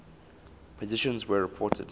positrons were reported